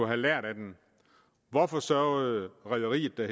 have lært af den hvorfor sørgede rederiet der